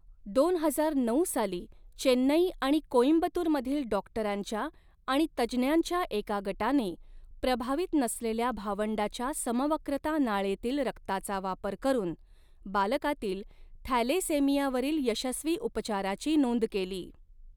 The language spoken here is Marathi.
दोन हजार नऊ साली, चेन्नई आणि कोईम्बतूरमधील डाॅक्टरांच्या आणि तज्ज्ञांच्या एका गटाने, प्रभावित नसलेल्या भावंडाच्या समवक्रता नाळेतील रक्ताचा वापर करून, बालकातील थॅलेसेमियावरील यशस्वी उपचाराची नोंद केली.